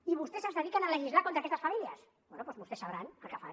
i vostès es dediquen a legislar contra aquestes famílies bé doncs vostès sabran el que fan